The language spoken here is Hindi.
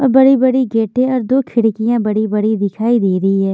और बड़ी-बड़ी गेटें और दो खिड़कियां बड़ी-बड़ी दिखाई दे रही है।